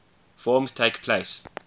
forms takes place